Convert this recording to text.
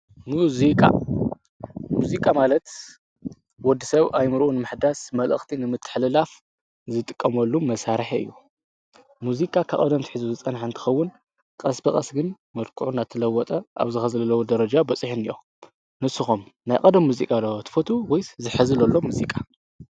መዚቃ፦ መዚቃ ማለት ወድሰብ ኣእምርኡ ንምሕዳስ መልእኽቲ ንምትሕልላፍ ዝጥቀመሉ መሳርሒ እዩ። ሙዚቃ ካብ ቀደም ኣትሒዙ ዝፀንሐ እንትኸዉን ቀስ ብቀስ ግን መልክዑ እናተለወጠ ኣብዚ ሀዚ ዘለዎ ደርጃ በፂሑ እኒአ። ንስኹም ናይ ቀደም ሙዚቃ ዶ ትፈትዉ ወይስ ናይ ሐዚ ዘሎ ሙዚቃ?